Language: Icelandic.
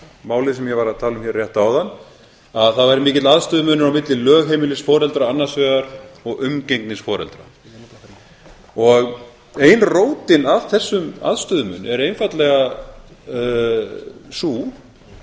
málið sem ég var að tala um hér rétt áðan að það væri mikill aðstöðumunur á milli lögheimilis foreldra annars vegar og umgengnisforeldra ein rótin að þessum aðstöðumun er einfaldlega sú